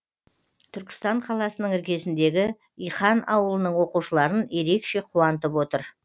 түркістан қаласының іргесіндегі иқан ауылының оқушыларын ерекше қуантып отыр